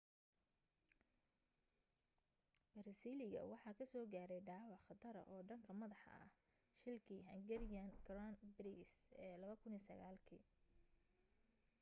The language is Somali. baraasiiliga waxa kasoo gaaray dhaawac khatara oo dhanka madaxa ah shilkii hungarian grand prix ee 2009 kii